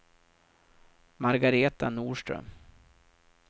Margaretha Norström